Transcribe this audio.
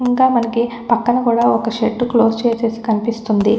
ఇంకా మనకి పక్కన కూడా ఒక్క షేడ్ క్లోస్ చేసేసి కనిపిస్తుంది.